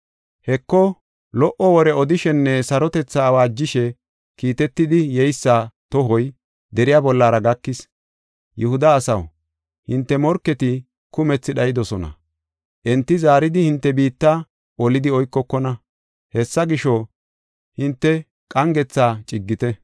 Heko, lo77o wore odishenne sarotethaa awaajishe kiitetidi yeysa tohoy deriya bollara gakis. Yihuda asaw, hinte morketi kumthi dhaydosona; enti zaaridi hinte biitta olidi oykokona. Hessa gisho, hinte ba7aaleta bonchite; hinte qangetha gathite.